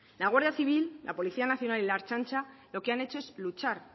la guardia civil la policía nacional y la ertzaintza lo que han hecho es luchar